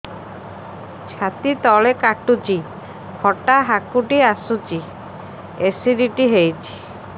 ଛାତି ତଳେ କାଟୁଚି ଖଟା ହାକୁଟି ଆସୁଚି ଏସିଡିଟି ହେଇଚି